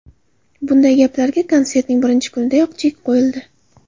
Bunday gaplarga konsertning birinchi kunidayoq chek qo‘yildi.